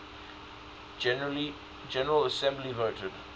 general assembly voted